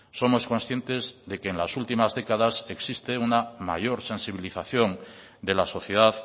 somos conscientes de que en las últimas décadas existe una mayor sensibilización de la sociedad